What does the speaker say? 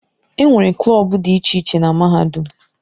Enwere klọb dị iche iche na Mahadum.